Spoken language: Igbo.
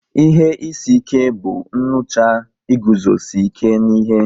Ihe isi ike bụ nnucha iguzosi ike n'ihe